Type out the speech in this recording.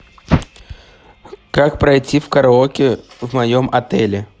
как пройти в караоке в моем отеле